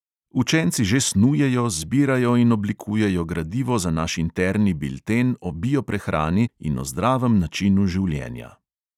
Učenci že snujejo, zbirajo in oblikujejo gradivo za naš interni bilten o bio-prehrani in o zdravem načinu življenja.